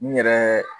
N yɛrɛ